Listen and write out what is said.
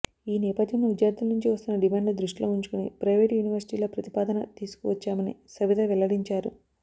ఈ నేపథ్యంలో విద్యార్థుల నుంచి వస్తున్న డిమాండ్లు దృష్టిలో ఉంచుకుని ప్రైవేటు యూనివర్సిటీల ప్రతిపాదన తీసుకువచ్చామని సబిత వెల్లడించారు